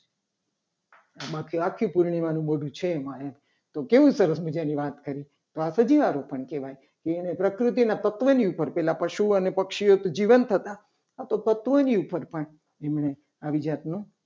આમાં તો આખી પૂર્ણિમા નું મોઢું છે. એમાં એમ તો કેવી સરસ મજાની વાત કરી. તો આ સજીવારોપણ કહેવાય. કે અને પ્રકૃતિના તત્વની ઉપર પહેલા પશુ અને પક્ષીને જીવત હતા. આ તો તત્વોની ઉપર પણ એમણે આવી જાતનું